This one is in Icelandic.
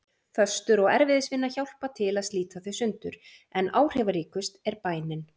Föstur og erfiðisvinna hjálpa til að slíta þau sundur, en áhrifaríkust er bænin.